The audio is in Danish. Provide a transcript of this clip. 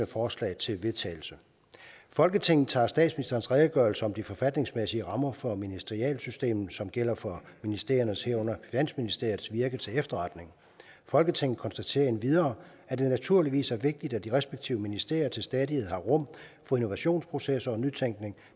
forslag til vedtagelse folketinget tager statsministerens redegørelse om de forfatningsmæssige rammer for ministerialsystemet som gælder for ministeriernes herunder finansministeriets virke til efterretning folketinget konstaterer endvidere at det naturligvis er vigtigt at de respektive ministerier til stadighed har rum for innovationsprocesser og nytænkning